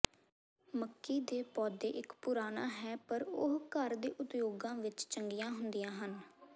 ਮੱਕੀ ਦੇ ਪੌਦੇ ਇਕ ਪੁਰਾਣਾ ਹੈ ਪਰ ਉਹ ਘਰ ਦੇ ਉਦਯੋਗਾਂ ਵਿਚ ਚੰਗੀਆਂ ਹੁੰਦੀਆਂ ਹਨ